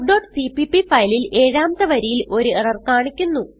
talkസിപിപി ഫയലിൽ ഏഴാമത്തെ വരിയിൽ ഒരു എറർ കാണിക്കുന്നു